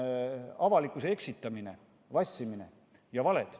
See on avalikkuse eksitamine, vassimine ja valed.